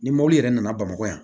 Ni mɔbili yɛrɛ nana bamakɔ yan